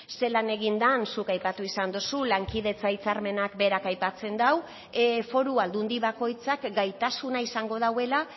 zelan egin den zuk aipatu izan duzu lankidetza hitzarmenak berak aipatzen du foru aldundi bakoitzak gaitasuna izango duela